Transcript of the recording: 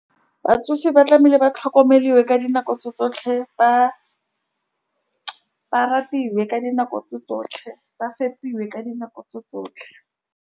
Batsofe ba tlamehile ba tlhokomeliwe ka dinako tse tsotlhe ba-ba ratiwe ka dinako tse tsotlhe, ba fepiwe ka dinako tse tsotlhe.